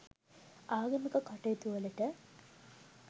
ආගමික කටයුතුවලට